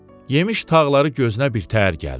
Yemiş tağları gözünə birtəhər gəldi.